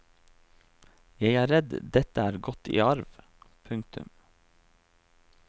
Jeg er redd dette er gått i arv. punktum